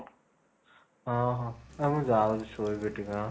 ହଁ, ହଁ ହଉ ଏ ମୁଁ ଯାଉଛି ଶୋଇବି ଟିକେ ହଁ